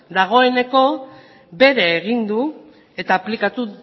dagoeneko bere egin du eta aplikatu